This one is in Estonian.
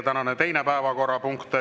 Tänane teine päevakorrapunkt.